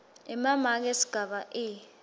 emamaki esigaba e